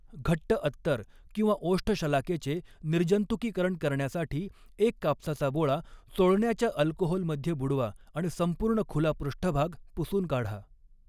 घट्ट अत्तर किंवा ओष्ठशलाकेचे निर्जंतुकीकरण करण्यासाठी, एक कापसाचा बोळा चोळण्याच्या अल्कोहोलमध्ये बुडवा आणि संपूर्ण खुला पृष्ठभाग पुसून काढा.